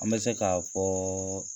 An bɛ se k'a fɔ